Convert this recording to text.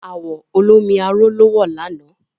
Àwọ̀ olómi arò ló wọ̀ lànà